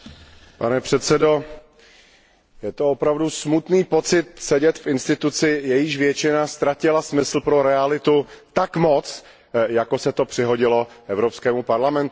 Pane předsedající, je to opravdu smutný pocit sedět v orgánu, jehož většina ztratila smysl pro realitu tak moc, jako se to přihodilo Evropskému parlamentu.